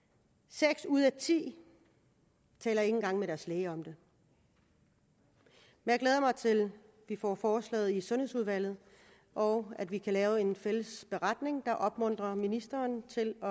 seks ud af ti taler ikke engang med deres læge om det jeg glæder mig til at vi får forslaget i sundhedsudvalget og at vi kan lave en fælles beretning kan opmuntre ministeren til at